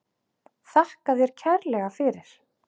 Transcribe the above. Þakka þér kærlega fyrir.